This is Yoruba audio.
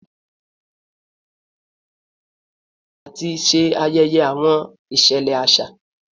Awọn igun mẹrin abule yoo tẹsiwaju lati jẹ awọn aaye fun awọn ẹgbẹ oniruuru lati ṣajọ ati ṣe ayẹyẹ awọn iṣẹlẹ aṣa